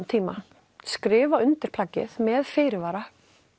tíma skrifa ég undir plaggið með fyrirvara